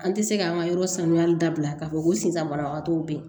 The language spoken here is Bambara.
An tɛ se ka an ka yɔrɔ sanuyali dabila k'a fɔ ko sisan banabagatɔw bɛ yen